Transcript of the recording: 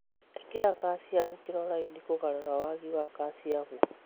Īkĩra kalciamu chloride kũgarũra wagi wa kalciamu